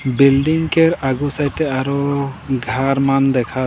बिल्डिंग केर आगो साइड आरो घर मान देखात।